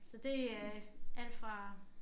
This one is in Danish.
Så det er alt fra